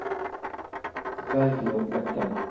Bergliot Løkken